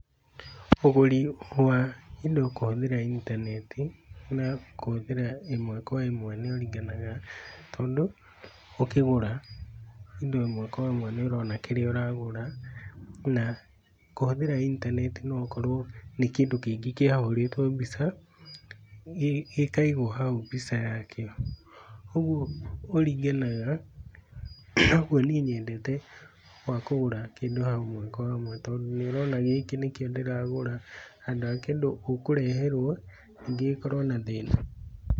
Ũguri wa kĩndũ kũhũthĩra intaneti na kũhũthĩra ĩmwe kwa ĩmwe nĩ ũringanaga, tondũ ũkĩgũra indo ĩmwe kwa ĩmwe nĩ ũrona kĩrĩa ũragũra na kũhũthĩra intaneti no ũkorwo nĩ kĩndũ kĩngĩ kĩa hũrĩtwo mbica gĩkaigwo hau mbica ya kĩo, kogwo kũringanaga kogwo niĩ nyendete wa kugũra kĩndũ hamwe kwa hamwe tondũ nĩũrona gĩkĩ nĩkĩo ndĩragũra handũ ha kĩndũ ũkũreherwo nĩngĩ gĩkorwo na thĩna.